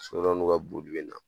So dɔw n'u ka boji bina